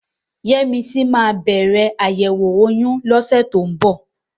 Yẹ́misí máa bẹ̀rẹ̀ àyẹ̀wò oyún lọ́sẹ̀ tó ń bọ̀.